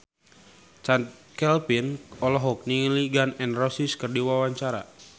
Chand Kelvin olohok ningali Gun N Roses keur diwawancara